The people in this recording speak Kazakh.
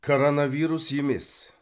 коронавирус емес